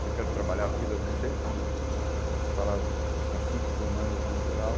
que eu quero trabalhar a vida no centro, falar do dos conflitos humanos no geral.